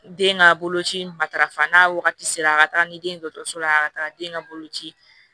Den ka boloci matarafa n'a wagati sera a ka taga ni den dɔkɔtɔrɔso la a ka taga den ka bolo ci